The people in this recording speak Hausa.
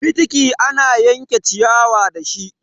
Fitiki ana yanke ciyawa dashi.